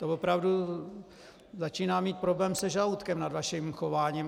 To opravdu začínám mít problém se žaludkem nad vaším chováním.